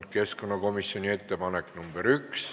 Keskkonnakomisjoni ettepanek nr 1.